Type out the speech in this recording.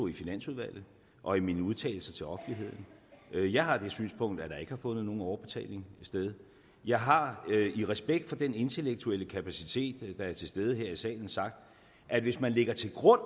i finansudvalget og i mine udtalelser til offentligheden jeg har det synspunkt at der ikke har fundet nogen overbetaling sted jeg har i respekt for den intellektuelle kapacitet der er til stede her i salen sagt at hvis man lægger til grund